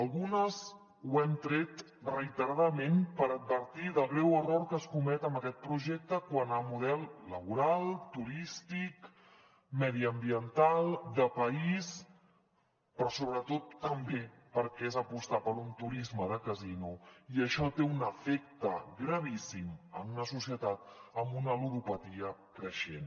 algunes ho hem tret reiteradament per advertir del greu error que es comet amb aquest projecte quant a model laboral turístic mediambiental de país però sobretot també perquè és apostar per un turisme de casino i això té un efecte gravíssim en una societat amb una ludopatia creixent